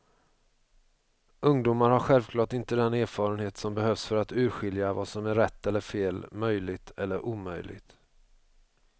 Ungdomar har självklart inte den erfarenhet som behövs för att urskilja vad som är rätt eller fel, möjligt eller omöjligt.